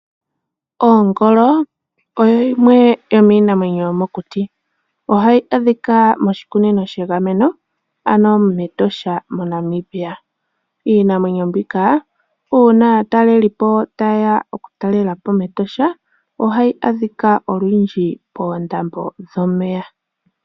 Oongolo odho dhimwe dhomiinamwenyo yomokuti, ohadhi a dhika moshikunino shegameno ano mEtosha moNamibia. Iinamwenyo mbika uuna aataleliipo ta ye ya oku talela po mEtosha ohayi adhika olundji poondambo dhomeya.